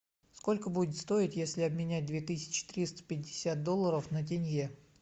сколько будет стоить если обменять две тысячи триста пятьдесят долларов на тенге